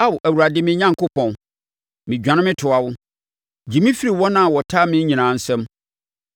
Ao, Awurade me Onyankopɔn, medwane metoa wo; Gye me firi wɔn a wɔtaa me nyinaa nsam,